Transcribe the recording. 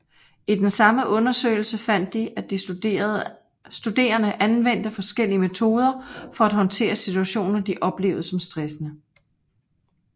I den samme undersøgelse fandt de at de studerende anvendte forskellige metoder for at håndtere situationer de oplevede som stressende